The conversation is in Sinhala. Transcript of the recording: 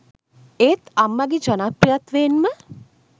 ඒත් අම්මගේ ජනප්‍රිත්වයෙන්ම